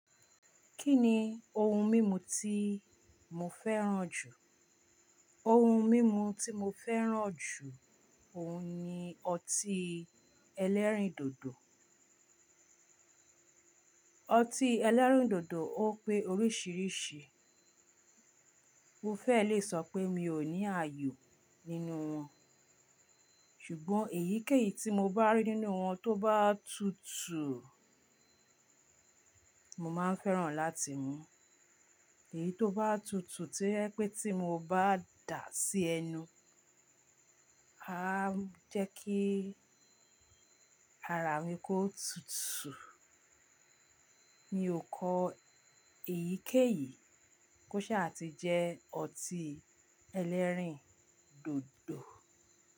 Kí ni ohun mímu tí mo fẹ́ràn jù? Ohun mímu tí mo fẹ́ràn jù, òun ni ọtí ẹlẹ́rìndòdò. Ọtí ẹlẹ́rìndòdò ó pé oríṣiríṣi. Mo fẹ́ lè sọ pé mi ò ní ààyò nínú wọn, ṣùgbọ́n èyíkéyìí tí mo bá rí nínú wọn tó bá tutù, mo máa fẹ́ràn láti mú. Èyí tó bá tutù tí ẹ pé tí mo bá dà á sí ẹnu, á jẹ́ kí ara mi kó tutù. Mi ò kọ èyíkéyìí kó ṣha ti jẹ ọtí ẹlẹ́rìndòdò.